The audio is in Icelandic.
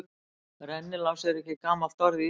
Rennilás er ekki gamalt orð í íslensku.